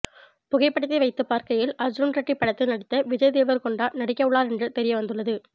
புகைப்படத்தை வைத்து பார்க்கையில் அர்ஜுன் ரெட்டி படத்தில் நடித்த விஜய் தேவரக்கொண்டா நடிக்கவுள்ளார் என்று தெரியவந்துள்ளது